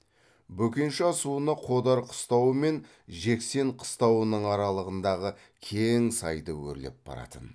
бөкенші асуына қодар қыстауы мен жексен қыстауының аралығындағы кең сайды өрлеп баратын